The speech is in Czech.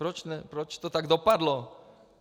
Proč to tak dopadlo?